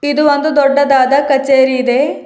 ಇದು ಒಂದು ದೊಡ್ಡದಾದ ಕಚೇರಿ ಇದೆ.